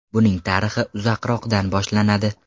Buning tarixi uzoqroqdan boshlanadi.